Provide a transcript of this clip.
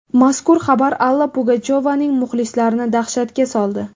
Mazkur xabar Alla Pugachyovaning muxlislarini dahshatga soldi.